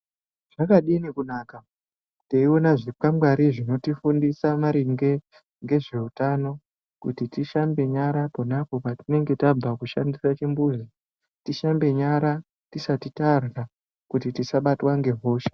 Zvakadini kunaka teiona zvikwangwari zvinotifundisa maringe ngezveutano. Kuti tishambe nyara ponapo patinenge tabve kushandisa chimbuzi. Tishambe nyara tisati tarwa kuti tisabatwa ngehosha.